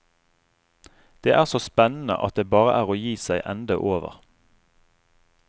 Det er så spennende at det bare er å gi seg ende over.